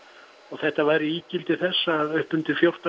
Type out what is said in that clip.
þetta væri ígildi þess að upp undir fjórtán